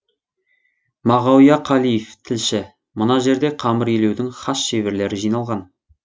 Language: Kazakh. мағауия қалиев тілші мына жерде қамыр илеудің хас шеберлері жиналған